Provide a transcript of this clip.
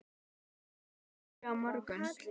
Sofía, hvernig er veðrið á morgun?